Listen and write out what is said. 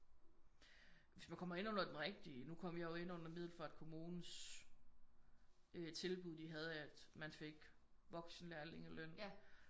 Hvis man kommer ind under den rigtige nu kom jeg jo ind under Middelfart kommunes øh tilbud de havde at man fik voksenlærlinge løn